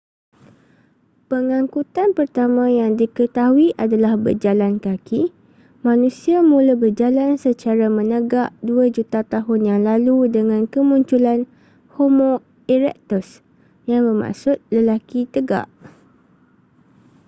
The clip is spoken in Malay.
pengangkutan pertama yang diketahui adalah berjalan kaki manusia mula berjalan secara menegak dua juta tahun yang lalu dengan kemunculan homo erectus yang bermaksud lelaki tegak